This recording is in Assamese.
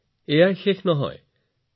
এটা সাগৰৰ অৰ্থ হৈছে ১০ ৰ ঘাট ৫৭